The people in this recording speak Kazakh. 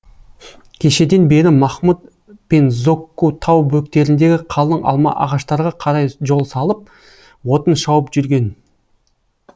кешеден бері махмұд пен зокку тау бөктеріндегі қалың алма ағаштарға қарай жол салып отын шауып жүрген